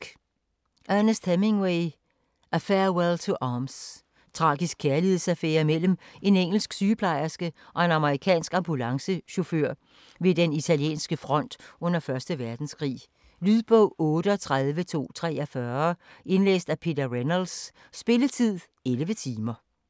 Hemingway, Ernest: A farewell to arms Tragisk kærlighedsaffære mellem en engelsk sygeplejerske og en amerikansk ambulancechauffør ved den italienske front under 1. verdenskrig. Lydbog 38243 Indlæst af Peter Reynolds Spilletid: 11 timer, 0 minutter.